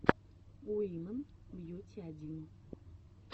уимэн бьюти один